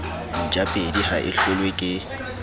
ntjapedi ha e hlolwe ke